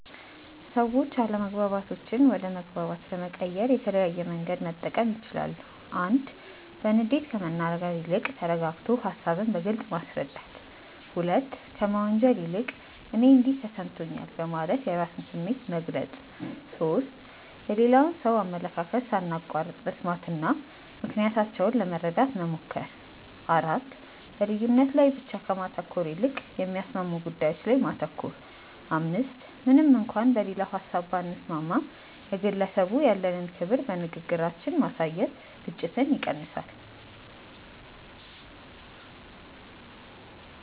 ሰዎች አለመግባባቶችን ወደ መግባባት ለመቀየር የተለያየ መንገድ መጠቀም ይችላሉ፦ 1. በንዴት ከመናገር ይልቅ ተረጋግቶ ሃሳብን በግልጽ ማስረዳት። 2. ከመወንጀል ይልቅ "እኔ እንዲህ ተሰምቶኛል" በማለት የራስን ስሜት መግለጽ። 3. የሌላውን ሰው አመለካከት ሳናቋርጥ መስማትና ምክንያታቸውን ለመረዳት መሞከር። 4. በልዩነት ላይ ብቻ ከማተኮር ይልቅ የሚያስማሙ ጉዳዮች ላይ ማተኮር። 5. ምንም እንኳን በሌላው ሀሳብ ባንስማማም፣ ለግለሰቡ ያለንን ክብር በንግግራችን ማሳየት ግጭትን ይቀንሳል።